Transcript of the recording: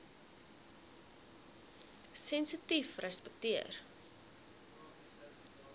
sensitiefrespekteer